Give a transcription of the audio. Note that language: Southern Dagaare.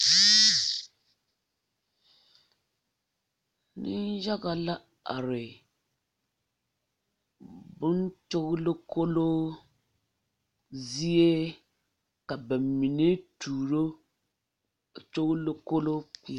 Meŋyaga la are boŋ gyogelekoloo zie ka ba mine tuuro gyogelokoloo kpeɛrɛ.